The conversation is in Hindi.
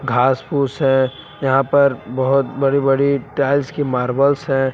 घास फूस है यहां पर बहुत बड़ी बड़ी टाइल्स की मार्बल्स हैं।